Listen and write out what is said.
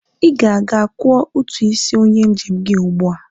I ga-aga kwọ utu isi onye njem gi ugbua!